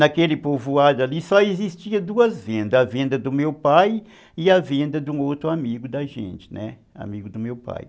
Naquele povoado ali só existia duas vendas, a venda do meu pai e a venda de um outro amigo da gente, né, amigo do meu pai.